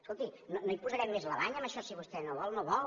escolti no hi posarem més la banya en això si vostè no ho vol no ho vol